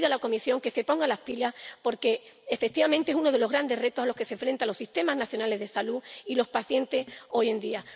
Pero le pido a la Comisión que se ponga las pilas porque, efectivamente, es uno de los grandes retos a los que se enfrentan los sistemas nacionales de salud y los pacientes hoy en día.